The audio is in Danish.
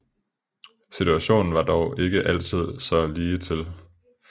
Situationen var dog ikke altid så ligetil